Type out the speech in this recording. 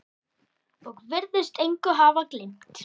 Og virðist engu hafa gleymt.